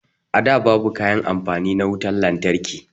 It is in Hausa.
A da babu kayan amfani na wutan lantarki